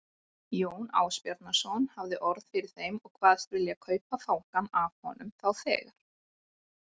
Jón Ásbjarnarson hafði orð fyrir þeim og kvaðst vilja kaupa fangann af honum þá þegar.